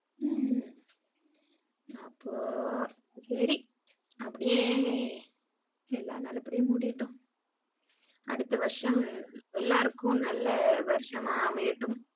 உம் அப்ப சரி அப்படியே எல்லாம் நல்லா படியா முடியட்டும் அடுத்த வருஷம் எல்லாருக்கும் நல்ல வருஷமா அமையட்டும்.